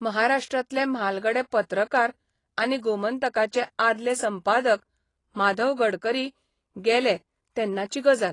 महाराष्ट्रांतले म्हालगडे पत्रकार आनी गोमंतकाचे आदले संपादक माधव गडकरी गेले तेन्नाची गजाल.